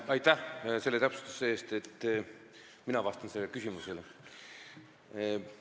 Aitäh selle täpsustuse eest, et mina vastan sellele küsimusele!